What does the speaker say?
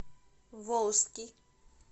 волжский